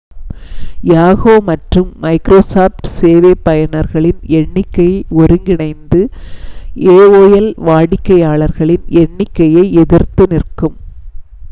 yahoo மற்றும் microsoft சேவை பயனர்களின் எண்ணிக்கை ஒருங்கிணைந்து aol வாடிக்கையாளர்களின் எண்ணிக்கையை எதிர்த்து நிற்கும்